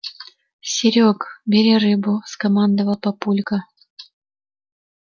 серёга бери рыбу скомандовал папулька